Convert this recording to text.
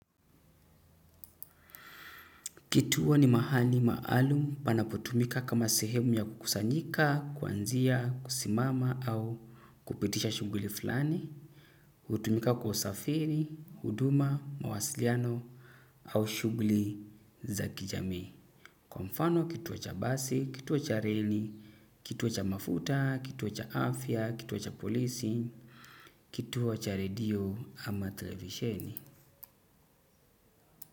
Kituo ni mahali maalum panapotumika kama sehemu ya kukusanyika, kwanzia, kusimama au kupitisha shuguli fulani. Hutumika kwa usafiri, huduma, mawasiliano au shuguli za kijamii. Kwa mfano kituo cha basi, kituo cha reli, kituo cha mafuta, kituo cha afya, kituo cha polisi, kituo cha radio ama television.